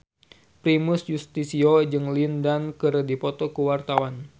Primus Yustisio jeung Lin Dan keur dipoto ku wartawan